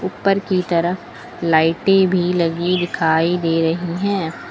ऊपर की तरफ लाइटे भी लगी दिखाई दे रही हैं।